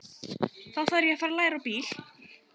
Þá þarf ég að fara að læra á bíl.